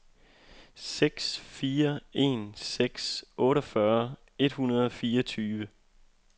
seks fire en seks otteogfyrre et hundrede og fireogtyve